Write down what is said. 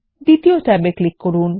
দ্বিতীয় ট্যাবে ক্লিক করুন